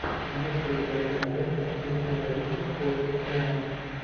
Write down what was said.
есть ли у тебя кинолента ричарда ричи в поисках немо